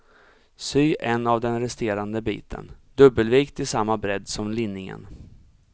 Sy en av den resterande biten, dubbelvikt till samma bredd som linningen.